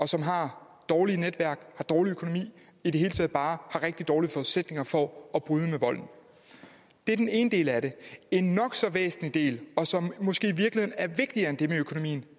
som har dårlige netværk dårlig økonomi og i det hele taget bare har rigtig dårlige forudsætninger for at bryde med volden det er den ene del af det en nok så væsentlig del og som måske